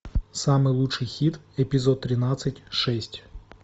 самый лучший хит эпизод тринадцать шесть